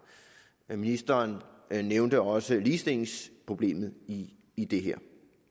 ministeren nævnte også ligestillingsproblemet i i det her